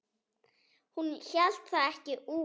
Hún hélt það ekki út!